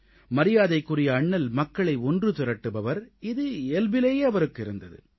மரியாதைக்குரிய அண்ணல் மக்களை ஒன்று திரட்டுபவர் இது இயல்பிலேயே அவருக்கு இருந்தது